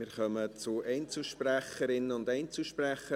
Wir kommen zu den Einzelsprecherinnen und Einzelsprechern.